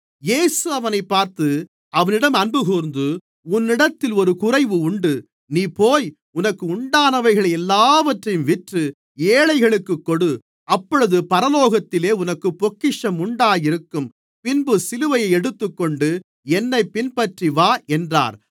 இயேசு அவனைப் பார்த்து அவனிடம் அன்புகூர்ந்து உன்னிடத்தில் ஒரு குறைவு உண்டு நீ போய் உனக்கு உண்டானவைகளை எல்லாவற்றையும் விற்று ஏழைகளுக்குக் கொடு அப்பொழுது பரலோகத்திலே உனக்குப் பொக்கிஷம் உண்டாயிருக்கும் பின்பு சிலுவையை எடுத்துக்கொண்டு என்னைப் பின்பற்றிவா என்றார்